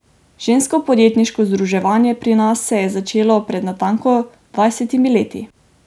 Žensko podjetniško združevanje pri nas se je začelo pred natanko dvajsetimi leti.